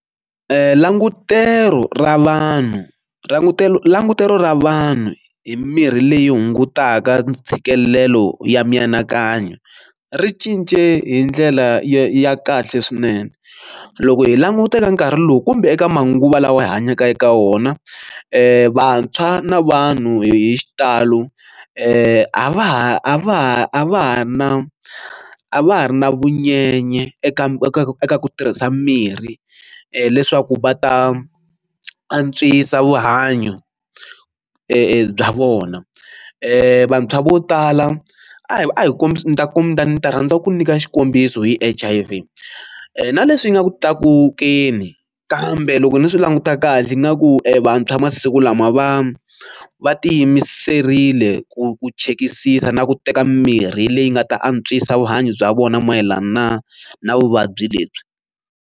Langutelo ra vanhu langutelo langutelo ra vanhu hi mirhi leyi hungutaka ntshikelelo ya mianakanyo ri cince hi ndlela ya kahle swinene ku loko hi languta eka nkarhi lowu kumbe eka manguva lawa hi hanyaka eka wona vantshwa na vanhu hi xitalo a va ha a va ha a va ha ri na a va ha ri na vunyenye eka eka ku tirhisa mirhi leswaku va ta antswisa vuhanyo bya vona vantshwa vo tala a hi a hi kombisi ni ta ku mi ta ni ta rhandza ku nyika xikombiso hi H_I_V na leswi yi nga ku tlakukeni kambe loko ni swi languta kahle ingaku evantshwa masiku lama va va ti yimiserile ku ku chekisisa na ku teka mirhi leyi nga ta antswisa vuhanyo bya vona mayelana na vuvabyi lebyi.